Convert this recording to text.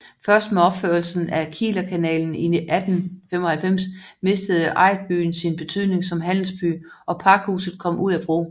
Først med opførelsen af Kielerkanalen i 1895 mistede ejderbyen sin betydning som handelsby og Pakhuset kom ud af brug